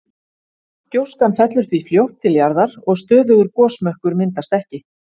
Gjóskan fellur því fljótt til jarðar og stöðugur gosmökkur myndast ekki.